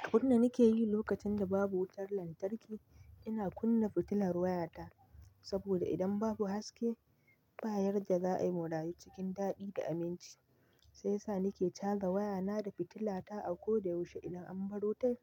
Abun da nake yi lokacin da babu wutar lantarki, ina kunna fitilar wayata saboda idan babu haske, ba yarda za a yi murayi cikin daɗi da aminci. Sai sa nake canza wayana da fitilata a ko da yaushe idan an bar wuta